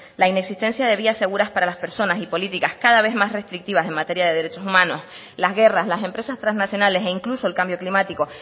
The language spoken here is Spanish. la inexistencia de vías seguras para las personas y políticas cada vez más restrictivas en materia de derechos humanos las guerras las empresas transnacionales e incluso el cambio climático